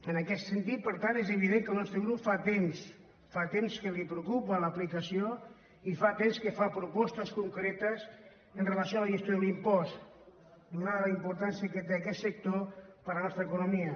en aquest sentit per tant és evident que el nostre grup fa temps fa temps que el preocupa l’aplicació i fa temps que fa propostes concretes amb relació a la gestió de l’impost atesa la importància que té aquest sector per a la nostra economia